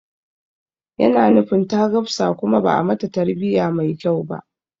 Yana nufin ta gafsa kuma ba'a mata tarbiya mai kyau ba